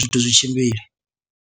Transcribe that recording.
zwithu zwi tshimbile.